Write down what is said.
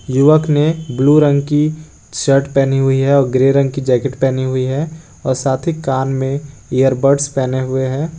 युवक ने ब्लू रंग की शर्ट पहनी हुई है और ग्रे रंग की जैकेट पहनी हुई है और साथ ही कान में इयरबड्स पहने हुए हैं।